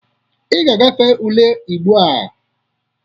Ị ga-agafe ule Igbo a!